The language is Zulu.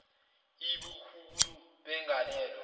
iii ubukhulu begalelo